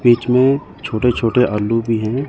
बीच में छोटे छोटे आलू भी हैं।